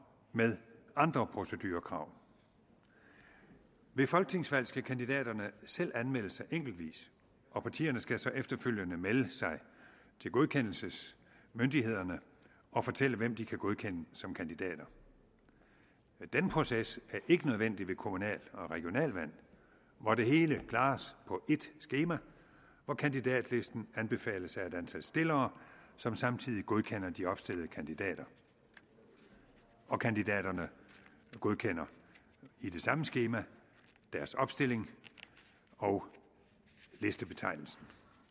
med andre procedurekrav ved folketingsvalg skal kandidaterne selv anmelde sig enkeltvis og partierne skal så efterfølgende melde sig til godkendelsesmyndighederne og fortælle hvem de kan godkende som kandidater den proces er ikke nødvendig ved kommunal og regionalvalg hvor det hele klares på ét skema hvor kandidatlisten anbefales af et antal stillere som samtidig godkender de opstillede kandidater og kandidaterne godkender i det samme skema deres opstilling og listebetegnelse